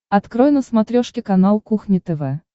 открой на смотрешке канал кухня тв